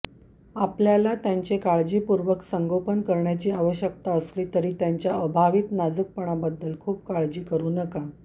आपल्याला त्यांचे काळजीपूर्वक संगोपन करण्याची आवश्यकता असला तरी त्यांच्या अभावित नाजूकपणाबद्दल खूप काळजी करू नका